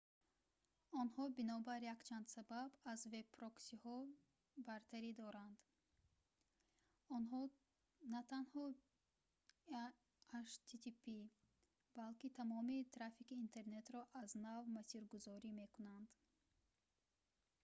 онҳо бинобар якчанд сабаб аз веб-проксиҳо бартарӣ доранд онҳо на танҳо http балки тамоми трафики интернетро аз нав масиргузорӣ мекунанд